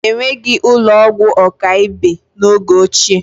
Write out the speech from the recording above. Enweghị ụlọ ọgwụ ọkaibe n'oge ochie